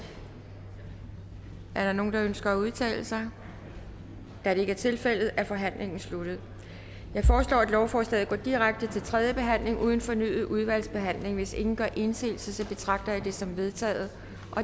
er der nogen der ønsker at udtale sig da det ikke er tilfældet er forhandlingen sluttet jeg foreslår at lovforslaget går direkte til tredje behandling uden fornyet udvalgsbehandling hvis ingen gør indsigelse betragter jeg dette som vedtaget